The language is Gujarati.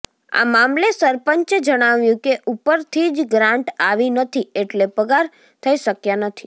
આ મામલે સરપંચે જણાવ્યું કે ઉપરથી જ ગ્રાન્ટ આવી નથી એટલે પગાર થઈ શકયા નથી